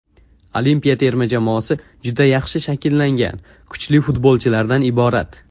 Olimpiya terma jamoasi juda yaxshi shakllangan, kuchli futbolchilardan iborat.